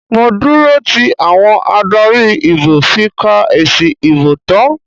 Mo dúró tí àwọn adarí ìbò fi ka èsì ìbò tán.